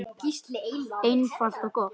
Einfalt og gott.